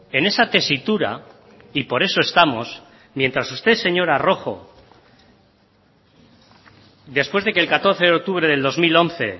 en esa tesitura y por eso estamos mientras ustedes señora rojo después de que el catorce de octubre del dos mil once